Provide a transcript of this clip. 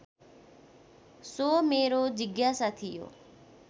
so मेरो जिज्ञासा थियो